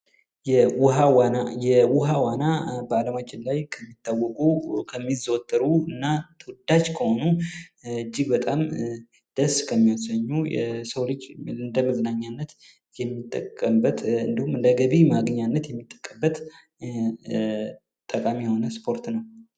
የውሃ ዋና የውሃ ዋና በአለማችን ላይ ከሚታወቁና ከሚዘወተሩ እና ተወዳጅ ከሆኑ እጅግ በጣም ደስ ከሚያሰኙ የሰው ልጅ እንደመዝናኛነት ከሚጠቀመባቸው እንዲሁም እንደገቢ ማግኛነት የሚጠቅምበት ደስ የሚያሰኝ ስፖርት ነው።